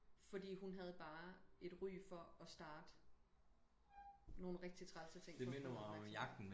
Fordi hun havde bare et ry for og starte nogen rigtig trælse ting for at få opmærksomhed